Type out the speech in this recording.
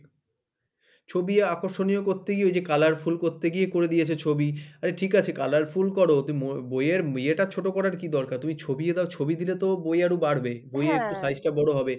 ছবি আকর্ষণীয় করতে গিয়ে ওই যে colorful করতে গিয়ে করে দিয়েছে ছবি, আরে ঠিক আছে colorful করো তো বইয়ের ইয়েটা ছোট করার কি দরকার, তুমি ছবি দাও ছবি দিলে তো বই আরো বাড়বে বইয়ের একটু size টা বড় হবে।